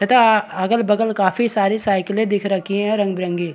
तथा अगल-बगल काफी सारी साइकिलें दिख रखी है रंग-बिरंगी --